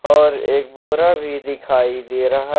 और एक बोरा भी दिखाई दे रहा।